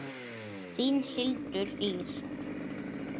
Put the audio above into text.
Þín Hildur Ýr.